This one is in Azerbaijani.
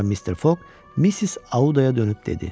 Sonra Mister Fog Missis Auddaya dönüb dedi: